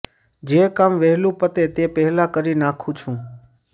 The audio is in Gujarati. જે કામ વહેલુ પતે તે પહેલાં કરી નાંખુ છું